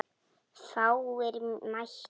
Fáir mættu.